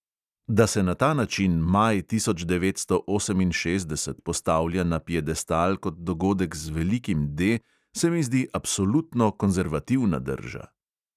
Da se na ta način maj tisoč devetsto oseminšestdeset postavlja na piedestal kot dogodek z velikim D, se mi zdi absolutno konzervativna drža.